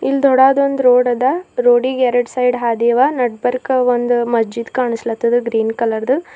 ಇಲ್ ದೋಡದೊಂದ್ ರೋಡ್ ಅದ ರೋಡಿಗ್ ಎರಡ್ ಸೈಡ್ ಹಾದಿ ಅವ ನಡ್ಬರ್ಕ ಒಂದ್ ಮಜೀದ್ ಕಾಣ್ಸ್ಲತ್ತದ ಗ್ರೀನ್ ಕಲರ್ದು.